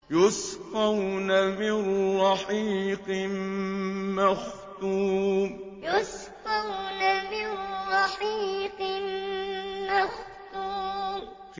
يُسْقَوْنَ مِن رَّحِيقٍ مَّخْتُومٍ يُسْقَوْنَ مِن رَّحِيقٍ مَّخْتُومٍ